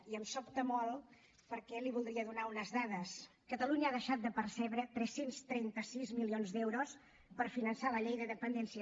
i em sobta molt perquè li voldria donar unes dades catalunya ha deixat de percebre tres cents i trenta sis milions d’euros per finançar la llei de dependència